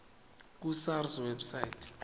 ku sars website